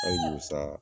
Ayiwa sa